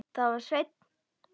Það var Sveinn.